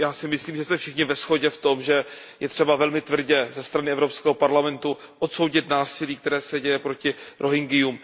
Já si myslím, že se všichni shodneme na tom, že je třeba velmi tvrdě ze strany Evropského parlamentu odsoudit násilí, které se děje proti Rohingyům.